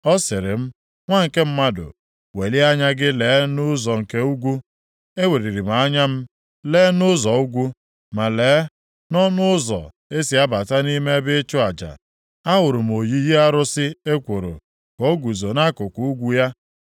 Ọ sịrị m, “Nwa nke mmadụ, welie anya gị lee nʼụzọ nke ugwu.” Eweliri m anya m lee nʼụzọ ugwu, ma lee, nʼọnụ ụzọ e si abata nʼime ebe ịchụ aja, ahụrụ m oyiyi arụsị ekworo ka o guzo nʼakụkụ ugwu ya.